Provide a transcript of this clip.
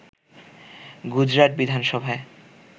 গুজরাট বিধানসভায়